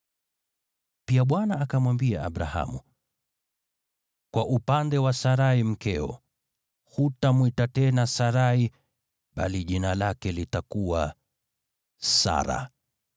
Pia Bwana akamwambia Abrahamu, “Kwa upande wa Sarai mkeo, hutamwita tena Sarai bali jina lake litakuwa Sara.